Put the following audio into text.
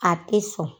A tɛ sɔn